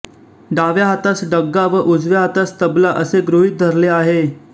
डाव्या हातास डग्गा व उजव्या हातास तबला असे गृहीत धरले आहे